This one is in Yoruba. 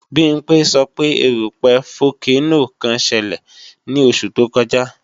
Bimpé sọ pé erúpẹ̀ fókénò kan ṣelẹ̀ ní oṣù tó kọjá